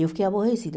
Eu fiquei aborrecida.